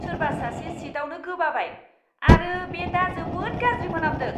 सोरबा सासे सीटआवनो गोबाबाय आरो बे दा जोबोद गाज्रि मोनामदों!